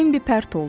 Bimbi pərt oldu.